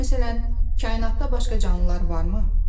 Məsələn, kainatda başqa canlılar varmı?